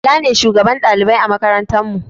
bala ne shugaban ɗalibai a makarantar mu